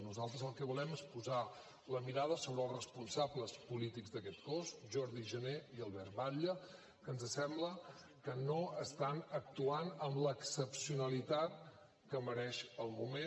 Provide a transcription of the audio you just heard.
nosaltres el que volem és posar la mirada sobre els responsables polítics d’aquest cos jordi jané i albert batlle que ens sembla que no estan actuant amb l’excepcionalitat que mereix el moment